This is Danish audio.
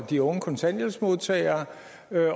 de unge kontanthjælpsmodtagere